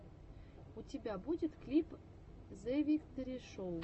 у тебя будет клип зэвикторишоу